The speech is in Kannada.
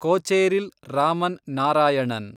ಕೊಚೇರಿಲ್ ರಾಮನ್ ನಾರಾಯಣನ್